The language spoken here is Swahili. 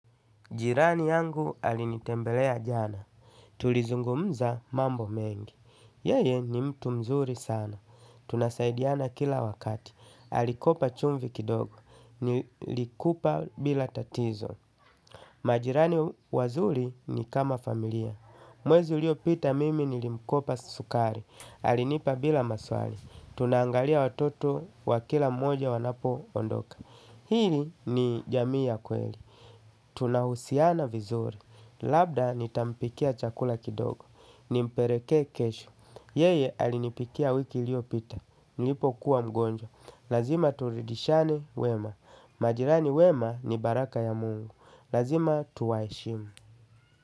Jirani yangu alinitembelea jana. Tulizungumza mambo mengi. Yeye ni mtu mzuri sana. Tunasaidiana kila wakati. Alikopa chumvi kidogo. Nilikupa bila tatizo. Majirani wazuri ni kama familia. Mwezi ulio pita mimi nilimkopa sukari. Alinipa bila maswali. Tunaangalia watoto wa kila mwoja wanapo ondoka. Hili ni jamii ya kweli tunahusiana vizuri labda nitampikia chakula kidogo nimpelekee kesho yeye alinipikia wiki iliopita. Nilipo kuwa mgonjwa. Lazima turidishane wema. Majirani wema ni baraka ya mungu. Lazima tuwaheshimu.